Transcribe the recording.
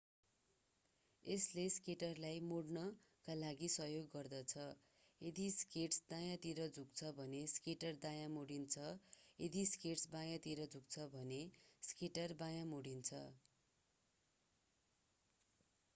यसले स्केटरलाई मोड्नका लागि सहयोग गर्दछ यदि स्केट्स दायाँतिर झुक्छ भने स्केटर दायाँ मोडिन्छ यदि स्केट्स बायाँतिर झुक्छ भने स्केटर बायाँ मोडिन्छ